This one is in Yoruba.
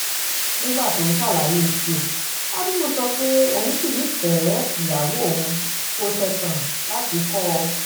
nígbà tó ń ṣàlàyé tiẹ̀ hábíbù sọ pé òun ṣì nífẹ̀ẹ́ ìyàwó òun òun kò ṣẹ̀tàn láti kọ́ ọ